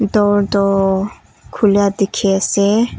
Door toh khulia dekhi ase.